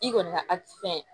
I kɔni ka